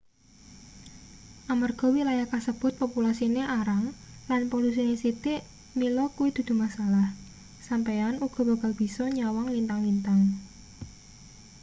amarga wilayah kasebut populasine arang lan polusine sithik mila kuwi dudu masalah sampeyan uga bakal bisa nyawang lintang-lintang